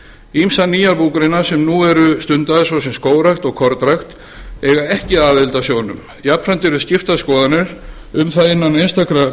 ýmsar nýjar búgreinar sem nú eru stundaðar svo sem skógrækt og kornrækt eiga ekki aðild að sjóðnum jafnframt eru skiptar skoðanir um það innan einstakra búgreina